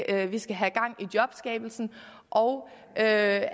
at vi skal have gang i jobskabelsen og at